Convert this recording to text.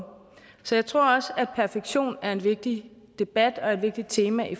så jeg tror også at perfektion er en vigtig debat og et vigtigt tema i